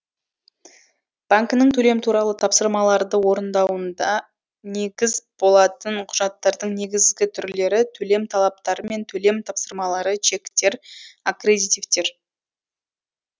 банкінің төлем туралы тапсырмаларды орындауында негіз болатын құжаттардың негізгі түрлері төлем талаптары мен төлем тапсырмалары чектер аккредитивтер